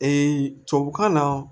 tubabukan na